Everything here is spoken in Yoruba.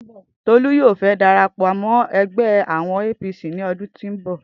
Tolu yoo fe darapo mo awon omo egbe APC lodun to n bo